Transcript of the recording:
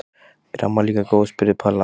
Er amma líka góð? spurði Palla.